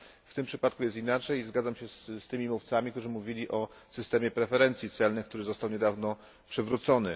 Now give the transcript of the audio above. W tym przypadku jest inaczej i zgadzam się z tymi mówcami, którzy mówili o systemie preferencji celnych, który został niedawno przywrócony.